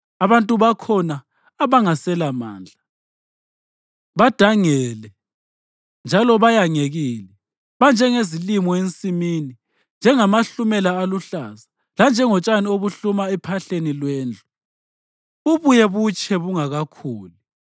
Abantu bakhona, abangaselamandla, badangele njalo bayangekile. Banjengezilimo ensimini, njengamahlumela aluhlaza, lanjengotshani obuhluma ephahleni lwendlu bubuye butshe bungakakhuli.